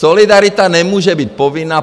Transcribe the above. Solidarita nemůže být povinná.